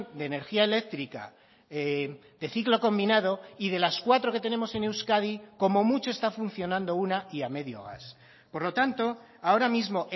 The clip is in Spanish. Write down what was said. de energía eléctrica de ciclo combinado y de las cuatro que tenemos en euskadi como mucho está funcionando una y a medio gas por lo tanto ahora mismo